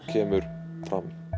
kemur fram